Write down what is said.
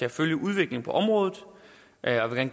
at følge udviklingen på området og jeg vil